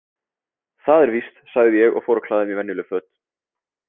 Það er víst, sagði ég og fór að klæða mig í venjuleg föt.